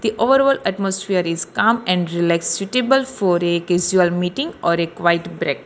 The all over atmosphere is calm and relaxtable for a casual meeting or a quite break.